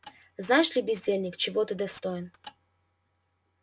знаешь ли бездельник чего ты достоин